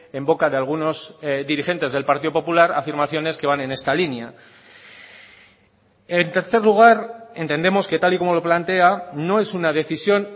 en boca de algunos dirigentes del partido popular afirmaciones que van en esta línea en tercer lugar entendemos que tal y como lo plantea no es una decisión